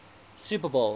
super bowl